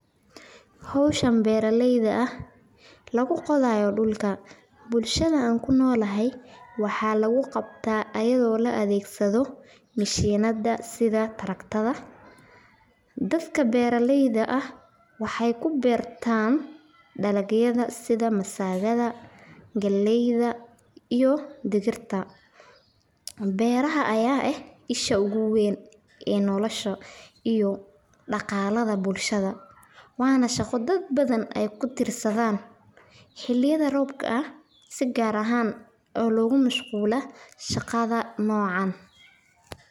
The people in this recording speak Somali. Howshan beeraleyda lagu qodaayo dulka, dadka beeraleyda waxeey ku beertan dalagyada, beeraha ayaa ah isha ugu weyn ee daqalaha bulshada.